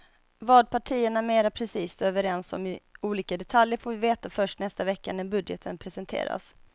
Vad partierna mera precist är överens om i olika detaljer får vi veta först nästa vecka när budgeten presenteras.